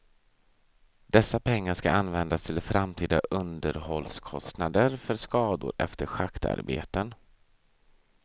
Dessa pengar skall användas till framtida underhållskostnader för skador efter schaktarbeten.